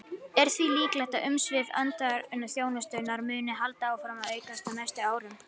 Er því líklegt að umsvif utanríkisþjónustunnar muni halda áfram að aukast á næstu árum.